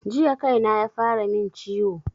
Jiya kaina yafara min ciwo